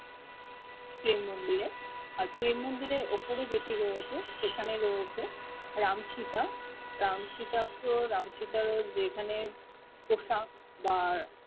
প্রেম মন্দিরে আর প্রেম মন্দিরে উপরে যেটি রয়েছে সেখানে রয়েছে রাম সিতা রাম সিতা তো রাম সিতা যেখানে পোষা বার